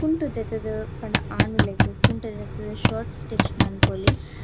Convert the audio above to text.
ಕುಂಟು ದೆತ್ ದ್ ಪಂಡ ಆನುಲೆಗ್ ಕುಂಟು ದೆತ್ ದ್ ಶರ್ಟ್ ಸ್ಟಿಚ್ ಮನ್ಪೊಲಿ.